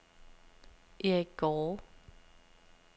Eric Gaarde